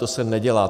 To se nedělá.